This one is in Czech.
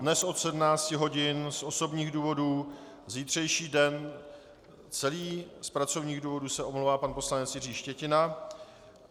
Dnes od 17 hodin z osobních důvodů, zítřejší den celý z pracovních důvodů se omlouvá pan poslanec Jiří Štětina.